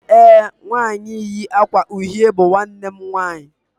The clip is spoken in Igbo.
ee, nwanyi yi akwa uhie bu nwannem nwanyi